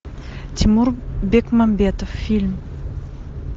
тимур бекмамбетов фильм